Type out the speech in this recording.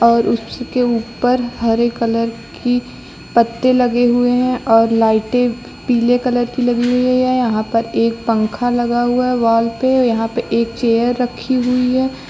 और उसके ऊपर हरे कलर के पत्ते लगे हुए हैं और लाइटे पीले कलर की लगी हुई है और यहां पर एक पंख लगा हुआ है वॉल पे यहां पर एक चेयर रखी हुई है।